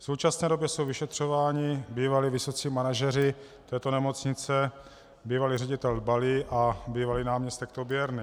V současné době jsou vyšetřováni bývalí vysocí manažeři této nemocnice, bývalý ředitel Dbalý a bývalý náměstek Toběrný.